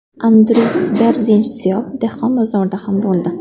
Andris Berzinsh Siyob dehqon bozorida ham bo‘ldi.